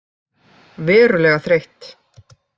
Verulega þreytt.